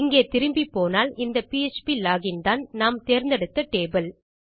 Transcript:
இங்கே திரும்பிப் போனால் இந்த பிஎச்பி லோகின் தான் நாம் தேர்ந்தெடுத்த டேபிள்